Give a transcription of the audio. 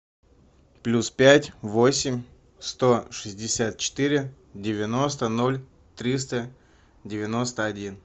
плюс пять восемь сто шестьдесят четыре девяносто ноль триста девяносто один